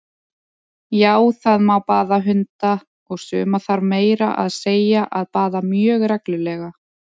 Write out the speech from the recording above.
Já, það má baða hunda, og suma þarf meira að segja að baða mjög reglulega!